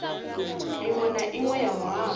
inwe na inwe ya muhasho